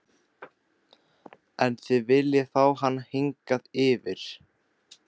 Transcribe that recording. En þið viljið fá hana hingað yfir?